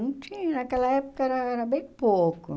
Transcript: Não tinha, naquela época era bem pouco.